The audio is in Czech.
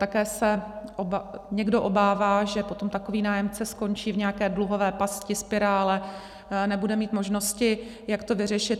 Také se někdo obává, že potom takový nájemce skončí v nějaké dluhové pasti, spirále, nebude mít možnosti, jak to vyřešit.